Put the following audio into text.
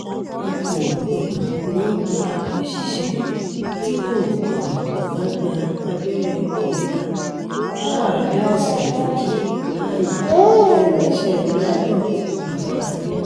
a kò um ní í gba òṣìṣẹ́ tí kò um bá gba abẹ́rẹ́ kọ́ńtà láàrin ọ̀sẹ̀ méjì láàyè lẹ́nu iṣẹ́ lọ́ńdọ́-àfọlábí